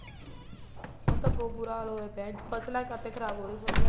ਹੁਣ ਤਾਂ ਬਹੁਤ ਬੂਰਾ ਹਾਲ ਹੋਇਆ ਪਇਆ ਹੈ ਫਸਲਾਂ ਕਾਹਤੇ ਖ਼ਰਾਬ ਫ਼ਸਲਾਂ